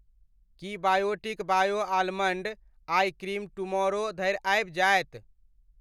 की Biotique bio almond eye cream tomorrow धरि आबि जायत ?